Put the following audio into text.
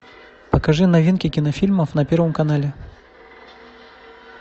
покажи новинки кинофильмов на первом канале